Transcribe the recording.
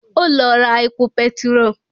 Ó lọ ra epo petiró